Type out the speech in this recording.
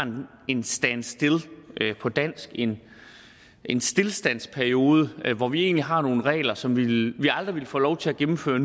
en standstillperiode på dansk en en stilstandsperiode hvor vi egentlig har nogle regler som vi aldrig ville få lov til at gennemføre